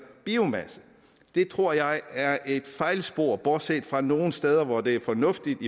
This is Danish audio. biomasse det tror jeg er et fejlspor bortset fra nogle steder hvor det er fornuftigt